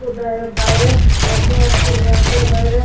ওদারে বাইরে এইচ.ডি.এফ.সি. -ইর ব্যাঙ্ক -এর বাইরে--